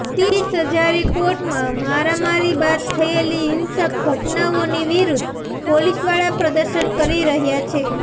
તીસ હજારી કોર્ટમાં મારામારી બાદ થયેલી હિંસક ઘટનાઓની વિરુદ્ધ પોલીસવાળા પ્રદર્શન કરી રહ્યાં છે